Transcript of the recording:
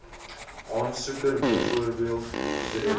aansoeker bv direkteur